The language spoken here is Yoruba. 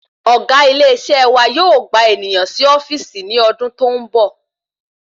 ọ̀gá ile isé wa yóò gba ènìyàn sì ofíìsì ni ọdún tó ń bọ̀